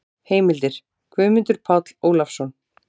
Heimildir: Guðmundur Páll Ólafsson.